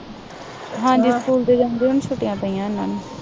ਹਾਂਜੀ ਸਕੂਲ ਦੇ ਜਾਂਦੇ ਹਨ ਛੁੱਟੀਆਂ ਪਈਆਂ ਇਹਨਾ ਨੂੰ